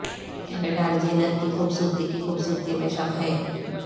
Kendall Jenner کی خوبصورتی کی خوبصورتی میں شک ہے